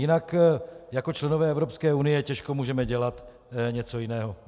Jinak jako členové Evropské unie těžko můžeme dělat něco jiného.